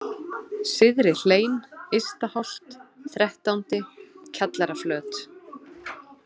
Syðrihlein, Ystaholt, Þrettándi, Kjallaraflöt